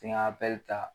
N ka ta